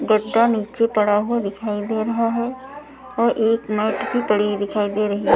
गद्दा नीचे पड़ा हुआ दिखाई दे रहा है और एक मेट भी पड़ी दिखाई दे रही है ।